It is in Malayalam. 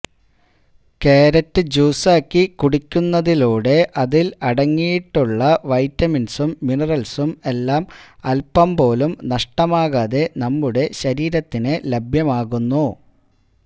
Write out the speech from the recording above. ക്യാരറ്റ് ജ്യൂസാക്കി കുടിയ്ക്കുന്നതിലൂടെ അതില് അടങ്ങിയിട്ടുള്ള വൈറ്റമിന്സും മിനറല്സും എല്ലാം അല്പം പോലും നഷ്ടമാകാതെ നമ്മുടെ ശരീരത്തിന് ലഭ്യമാകുന്നു